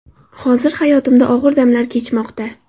Hozir hayotimda og‘ir damlar kechmoqda.